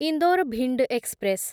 Indore Bhind express